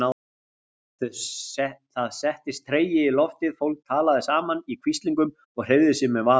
Það settist tregi í loftið, fólk talaði saman í hvíslingum og hreyfði sig með varúð.